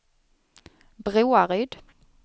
Broaryd